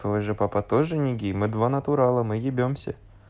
твой же папа тоже не гей мы два натурала мы ебемся